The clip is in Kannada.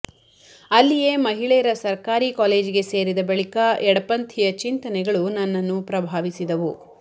ಅಲ್ಲಿಯೇ ಮಹಿಳೆಯರ ಸರ್ಕಾರಿ ಕಾಲೇಜಿಗೆ ಸೇರಿದ ಬಳಿಕ ಎಡಪಂಥೀಯ ಚಿಂತನೆಗಳು ನನ್ನನ್ನು ಪ್ರಭಾವಿಸಿದವು